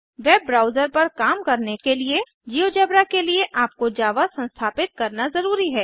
web browser पर काम करने को जिओजेब्रा के लिए आपको जावा संस्थापित करना ज़रूरी है